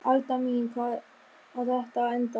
Alda mín, hvar á þetta að enda?